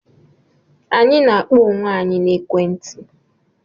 Anyị na-akpọ onwe anyị na ekwe nti